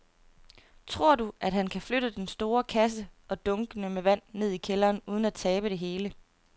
Tror du, at han kan flytte den store kasse og dunkene med vand ned i kælderen uden at tabe det hele?